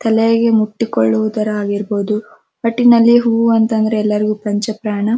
ತಲೆಯಗೆ ಮುತ್ತಿಕೊಳ್ಳೋದ್ ಆಗಿರ್ಬೋದು ಒಟ್ಟಿನಲ್ಲಿ ಹೂವು ಅಂತಂದ್ರೆ ಎಲರಿಗೂ ಪಂಚ ಪ್ರಾಣ.